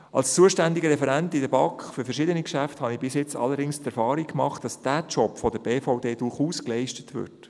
Als zuständiger Referent in der BaK für verschiedene Geschäfte habe ich bis jetzt allerdings die Erfahrung gemacht, dass dieser Job von der BVD durchaus geleistet würde.